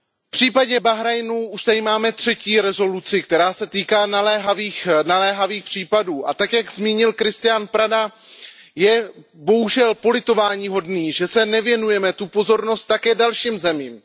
V případě Bahrajnu už tady máme třetí rezoluci, která se týká naléhavých případů, a tak, jak zmínil Cristian Preda, je bohužel politováníhodné, že nevěnujeme pozornost také dalším zemím.